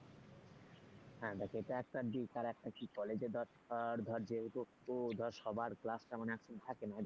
হ্যাঁ দেখ এটা একটা দিক তার একটা কি কলেজে ধর ধর যেহেতু সবার ক্লাসটা মানে এখন থাকে না।